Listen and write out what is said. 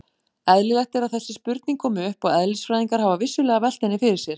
Eðlilegt er að þessi spurning komi upp og eðlisfræðingar hafa vissulega velt henni fyrir sér.